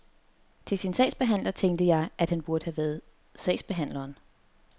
Til sin sagsbehandler, tænkte jeg, at han burde have været sagsbehandleren.